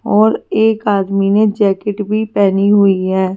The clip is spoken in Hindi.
और एक आदमी ने जैकेट भी पहनी हुई है।